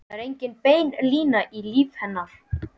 Það var engin bein lína í lífi hennar.